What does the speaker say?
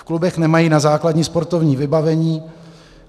V klubech nemají na základní sportovní vybavení.